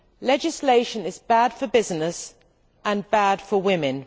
Legislation is bad for business and bad for women.